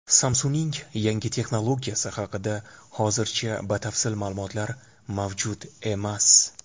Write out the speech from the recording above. Samsung‘ning yangi texnologiyasi haqida hozircha batafsil ma’lumotlar mavjud emas.